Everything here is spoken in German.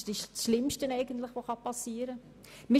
Das ist das Schlimmste, was passieren kann.